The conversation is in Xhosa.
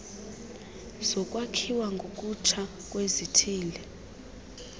zokwakhiwa ngokutsha kwezithili